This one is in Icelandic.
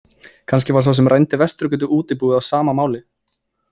Kannski var sá sem rændi Vesturgötuútibúið á sama máli.